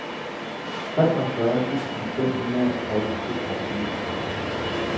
treogfyrre tusind fem hundrede og toogfirs